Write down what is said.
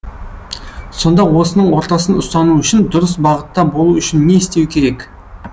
сонда осының ортасын ұстану үшін дұрыс бағытта болу үшін не істеу керек